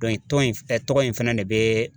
tɔn in tɔgɔ in fana de bɛ